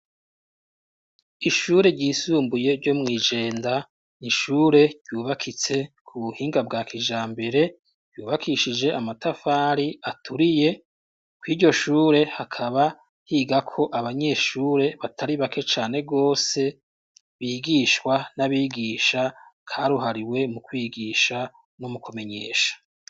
Ishure ryisumbuye ryo mw' iJenda n'ishure ryubakitse ku buhinga bwa kijambere ryubakishije amatafari aturiye kw''iryo shure hakaba higako abanyeshure batari bake cane gose bigishwa n'abigisha karuhariwe mu kwigisha no mukumenyesha.